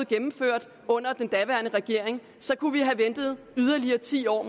gennemført under den daværende regering så kunne vi måske have ventet yderligere ti år